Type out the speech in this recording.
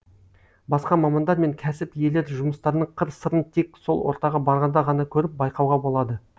басқа мамандар мен кәсіп иелері жұмыстарының қыр сырын тек сол ортаға барғанда ғана көріп байқауға болады